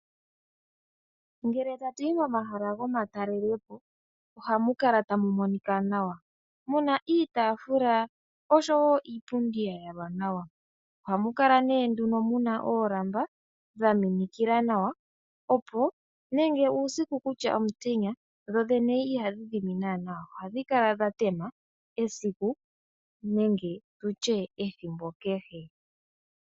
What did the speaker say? Ngele tatuyi momahala gomatalelepo ohamu kala tamu monika nawa muna iitaafula oshowo iipundi ya yalwa nawa. Ohamu kala ne nduno muna oolamba dha minikila nawa opo nenge uusiku kutya omutenya dho dhene ihadhi dhimi naana. Ohadhi kala dha tema esiku nenge tutye ethimbo kehe.